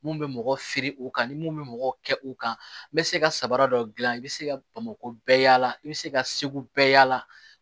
Mun bɛ mɔgɔ firi u kan ni mun bɛ mɔgɔ kɛ u kan n'i bɛ se ka sabara dɔ dilan i bɛ se ka bamako bɛɛ yaala i bɛ se ka segu bɛɛ yaala